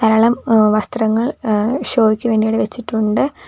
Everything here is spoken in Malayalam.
എളം എഹ് വസ്ത്രങ്ങൾ ആഹ് ഷോയ്ക്ക് വേണ്ടി ഇവിടെ വെച്ചിട്ടുണ്ട്.